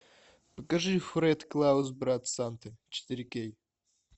покажи фред клаус брат санты четыре кей